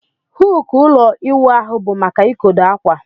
Huku ụlọ iwụ ahụ bu maka ikodo akwa.